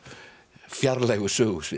fjarlægu sögusvið